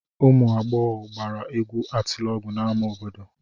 Ụmụ agbọghọ gbara egwu atịlọgụ n'ámá obodo.